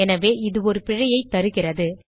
எனவே இது ஒரு பிழையைத் தருகிறது